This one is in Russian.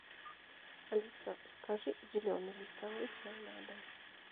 алиса закажи зеленый листовой чай на дом